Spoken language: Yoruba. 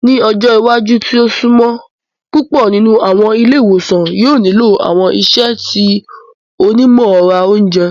Ni ọjọ iwaju ti o sunmọ, pupọ ninu awọn ile-iwosan yoo nilo awọn iṣẹ ti onimọran ounjẹ.